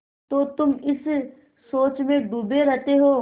तो तुम इस सोच में डूबे रहते हो